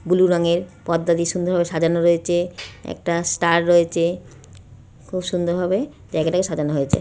Blue রংয়ের পর্দা দিয়ে সুন্দর সাজানো রয়েছে। একটা স্টার রয়েছে। খুব সুন্দর ভাবে জায়গাটাকে সাজানো হয়েছে।